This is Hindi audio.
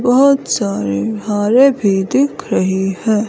बहोत सारे हारे भी दिख रहे हैं।